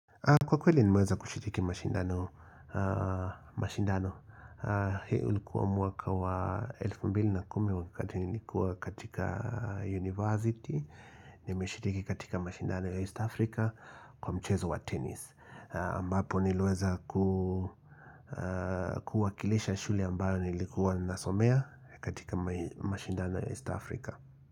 Kwa kweli nimeweza kushiriki mashindano. Hii ulikuwa mwaka wa elfu mbili na kumi wakati nilikuwa katika university. Nimeshiriki katika mashindano ya East Africa kwa mchezo wa tennis. Ambapo niliweza kuwakilisha shule ambayo nilikuwa nasomea katika mashindano ya East Africa.